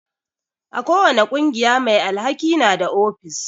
Ko wani ƙungiya mai alhaki na da ofis.